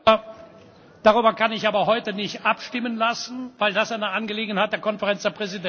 Darüber kann ich aber heute nicht abstimmen lassen, weil das eine Angelegenheit der Konferenz der Präsidenten ist.